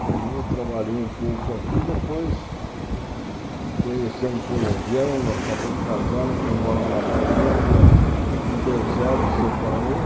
Formou, trabalhou um pouco aqui, e depois conheceu um colombiano, acabou casando, foi morar na Colômbia, não deu certo, separou.